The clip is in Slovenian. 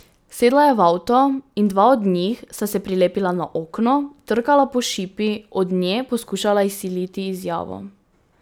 Sedla je v avto in dva od njih sta se prilepila na okno, trkala po šipi, od nje poskušala izsiliti izjavo.